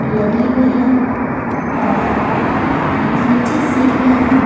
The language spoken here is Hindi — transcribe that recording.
लगी हुई है और नीचे सीरियां हैं।